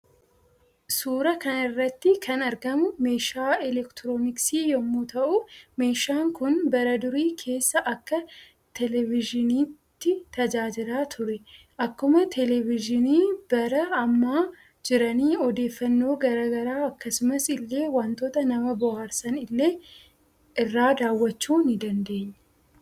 Suuraa kanarratti kan argamu meeshaa elektirooniksii yommuu ta'uu meeshaan Kun bara durii kessa Akka televizhiniitti tajaajila ture. Akkuma televizhini bara ammaa jiraanii oodeeffannoo garaa garaa akkasumas illee waantota nama bohaarsan ille irraa daawwachuu ni dandeenya.